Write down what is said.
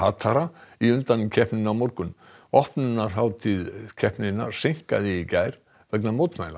hatara í undankeppninni á morgun opnunarhátíð keppninnar seinkaði í gær vegna mótmæla